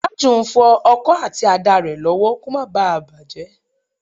Tájù ń fọ ọkọ àti àdá rẹ̀ lọ́wọ́ kó má bá à bàjẹ́